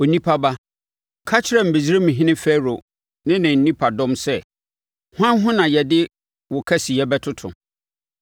“Onipa ba, ka kyerɛ Misraimhene Farao ne ne nipadɔm sɛ: “ ‘Hwan ho na yɛde wo kɛseyɛ bɛtoto?